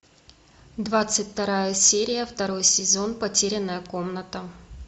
двадцать вторая серия второй сезон потерянная комната